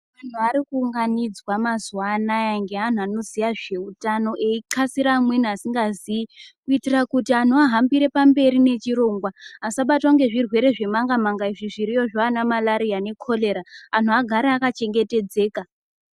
Anhu arikuunganidzwa mazuwa anaya ngeanhu anoziya zveutano eixasira amweni asingazii kuitira kuti anhu ahambire pamberi nechirongwa asabatwa nezvirwere zvemangamanga izvi zviriyo zvaana marariya nekorera anhu agare akachengetedzeka.